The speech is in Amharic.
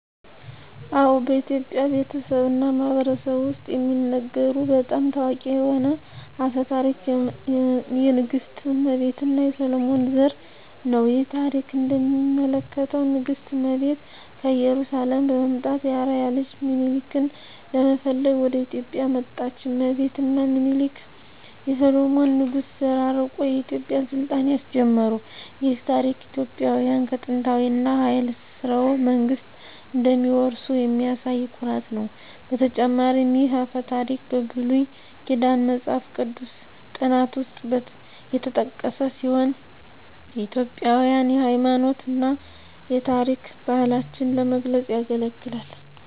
አዎ፣ በኢትዮጵያ ቤተሰብ እና ማህበረሰብ ውስጥ የሚነገሩ በጣም ታዋቂ የሆነ አፈ ታሪክ የንግሥት እመቤት እና የሰሎሞን ዘር ነው። ይህ ታሪክ እንደሚያመለክተው ንግሥት እመቤት ከኢየሩሳሌም በመምጣት የአርአያ ልጅ ሚኒሊክን ለመፈለግ ወደ ኢትዮጵያ መጣች። እመቤት እና ሚኒሊክ የሰሎሞን ንጉሥ ዘር አርቆ የኢትዮጵያን ሥልጣኔ አስጀመሩ። ይህ ታሪክ ኢትዮጵያውያን ከጥንታዊ እና ኃያል ሥርወ መንግሥት እንደሚወርሱ የሚያሳይ ኩራት ነው። በተጨማሪም ይህ አፈ ታሪክ በብሉይ ኪዳን መጽሐፍ ቅዱስ ጥናት ውስጥ የተጠቀሰ ሲሆን ኢትዮጵያውያንን የሃይማኖት እና የታሪክ ባህላቸውን ለመግለጽ ያገለግላል።